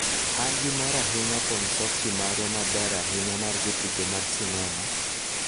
an gi mor ahinya kuom Softie marwa maber ahinya mar jotugo mag sinema...